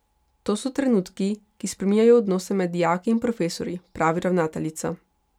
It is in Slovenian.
To so trenutki, ki spreminjajo odnose med dijaki in profesorji, pravi ravnateljica.